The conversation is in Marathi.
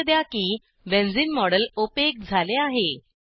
लक्षा द्या की बेन्झीन मॉडेल ओपेक झाले आहे